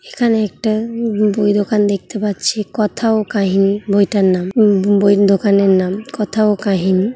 এখানে একটা বই এর দোকান দেখতে পাচ্ছি "কথা ও কাহিনী" বইটার নাম বই বইয়ের দোকানের নাম "কথা ও কাহিনী"।